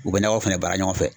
U bɛ nakɔ fɛnɛ baara ɲɔgɔn fɛ.